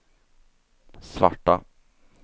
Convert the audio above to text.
svarta